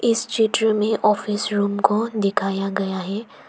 इस चित्र में ऑफिस रूम को दिखाया गया है।